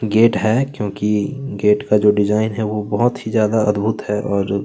gate हैं क्यूंकी gate का जो डिजाईन है वो बहुत ही ज्यादा अद्भुत हैं और--